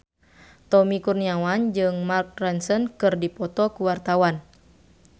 Tommy Kurniawan jeung Mark Ronson keur dipoto ku wartawan